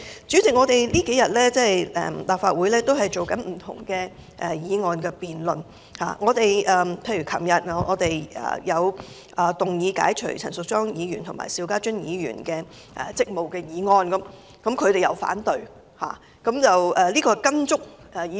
主席，立法會這數天進行不同的議案辯論，例如昨天有議員提出解除陳淑莊議員和邵家臻議員職務的議案，而他們反對這兩項議案。